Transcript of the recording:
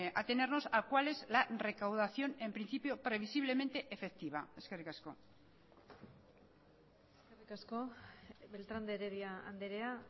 atenernos a cuál es la recaudación en principio previsiblemente efectiva eskerrik asko eskerrik asko beltrán de heredia andrea